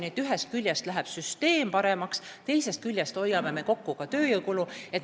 Nii et ühest küljest läheb süsteem paremaks, teisest küljest hoiame kokku tööjõukulu.